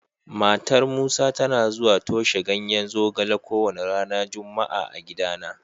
Matar Musa tana zuwa toshe ganyen zogale kowane ranar Juma'a a gidana.